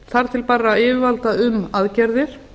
þar til bærra yfirvalda um aðgerðir